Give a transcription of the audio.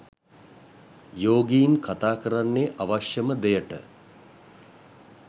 යෝගීන් කතා කරන්නේ අවශ්‍යම දෙයට